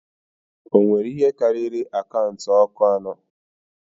O nwere ihe karịrị akaụntụ ọkụ anọ.